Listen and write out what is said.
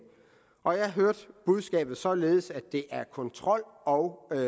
og jeg hørte budskabet således at det er kontrol og